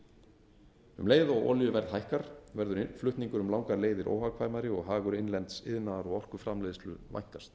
um leið og olíuverð hækkar verður flutningur um langar leiðir óhagkvæmari og hagur innlends iðnaðar og orkuframleiðslu vænkast